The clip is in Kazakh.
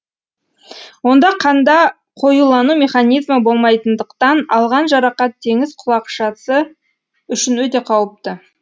онда қанда қоюлану механизмі болмайтындықтан алған жарақат теңіз құлақшасы үшін өте қауіпті